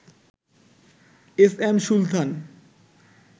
S M Sultan